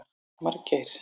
Margeir